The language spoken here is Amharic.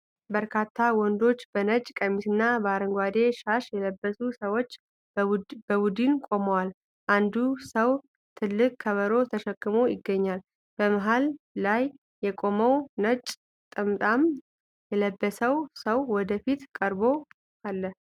በርካታ ወንዶች በነጭ ቀሚስና በአረንጓዴ ሻሽ የለበሱ ሰዎች በቡድን ቆመዋል። አንዱ ሰው ትልቅ ከበሮ ተሸክሞ ይገኛል። መሀል ላይ የቆመው ነጭ ጠምጣማ የለበሰው ሰው ወደፊት ቀርቦ አለ።